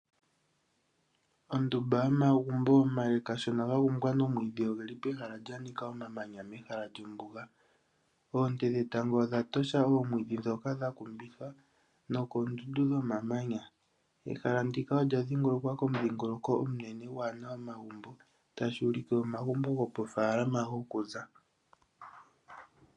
Ondumba yomagumbo omale kashona gakumbwa nomwiidhi odhili pehala pwa nika omamanya. Oontee dhetango odha tosha omwiidhi dhoka dha kumbithwa nookindundu dhomamanya. Ehala ndika olya dhingolokwa komudhingoloko omunene gwaana omagumbo. Tashi ulike omagumbo omanene goofalama goku za.